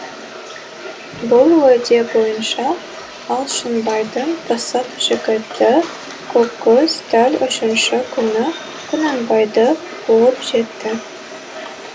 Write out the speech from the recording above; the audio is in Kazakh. бұл уәде бойынша алшынбайдың пысық жігіті көккөз дәл үшінші күні құнанбайды қуып жетті